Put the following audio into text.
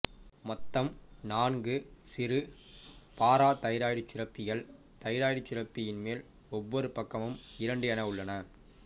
மொத்தம் நான்கு சிறு பாராதைராய்டுச் சுரப்பிகள் தைராய்டுச் சுரப்பியின் மேல் ஒவ்வொரு பக்கமும் இரண்டு என உள்ளன